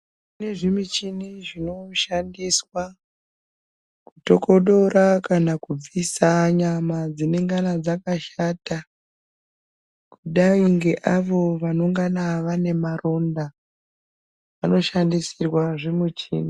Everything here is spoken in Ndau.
Kune zvimuchini zvinoshandiswa, kutokodora kana kubvisa nyama dzinengana dzakashata, kudai ngeavo vanongana vane maronda, vanoshandisirwa zvimuchini.